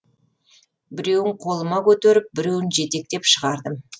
біреуін қолыма көтеріп біреуін жетектеп шығардым